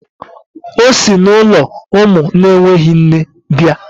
O si n'ụlọ ụmụ na-enweghị nne bịa